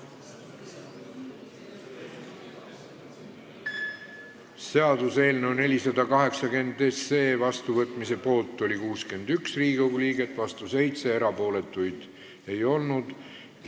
Hääletustulemused Seaduseelnõu 480 vastuvõtmise poolt oli 61 Riigikogu liiget, vastu 7, erapooletuid ei olnud.